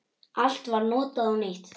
Allt var notað og nýtt.